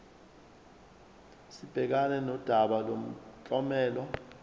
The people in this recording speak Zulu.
sibhekane nodaba lomklomelo